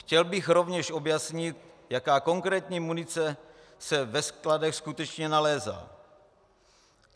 Chtěl bych rovněž objasnit, jaká konkrétní munice se ve skladech skutečně nalézá.